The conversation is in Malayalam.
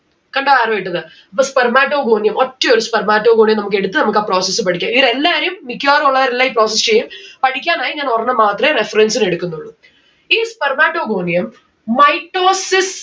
കണ്ടോ arrow ഇട്ടത്? ഇത് spermatogonium ഒറ്റ ഒരു spermatogonium നമ്മുക്ക് എടുത്ത് നമ്മുക്ക് ആ process പഠിക്കാ ഈട എല്ലാരേയും മിക്കവാറും ഉള്ളവരെല്ലാം ഈ process ചെയ്യും. പഠിക്കാനായി ഞാൻ ഒരെണ്ണം മാത്രേ reference ന് എടുക്കുന്നുള്ളു. ഈ spermatogonium mitosis